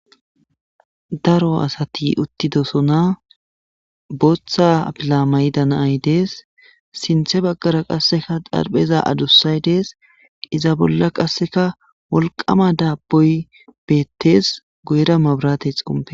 Daro asati uttidosona booththa apila mayda naay dees sinthe baggara qasseka darpheza adussay dees iza bolla qasseka wolqama daabboy beettees goyra mabrate xompe.